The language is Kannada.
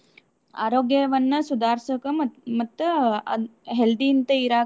ಆರೋಗ್ಯವನ್ನ ಸುಧಾರಿಸೋಕ ಮತ್ತ ಮತ್ತ ಅದ್ನ healthy ಯಿಂತ ಇರಾಕ.